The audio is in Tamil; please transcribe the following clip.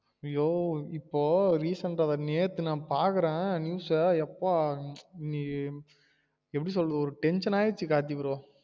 அயோ இப்போ recent ஆ நேத்து நான் பாக்குறேன் news ஆ பாக்குரே எப்பா நீ எப்டி சொல்ல ஒரு tension ஆயிடுச்சு கார்த்தி bro